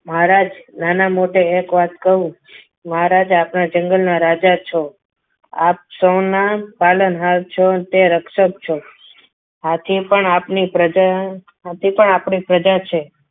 મહારાજ નાના મોઢે એક વાત કહું મહારાજા આપણા જંગલના રાજા છો આપ સૌના પાલનહાર છો તે રક્ષક છો હાથી પણ આપની પ્રજા હાથી પણ આપણી પ્રજા છે.